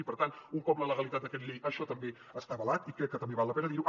i per tant un cop la legalitat d’aquest decret llei això també està avalat i crec que també val la pena dirho